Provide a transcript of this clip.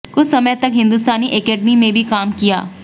कुछ समय तक हिंदुस्तानी एकेडेमी में भी काम किया